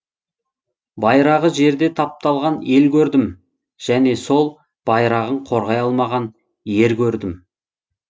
байрағы жерде тапталған ел көрдім және сол байрағын қорғай алмаған ер көрдім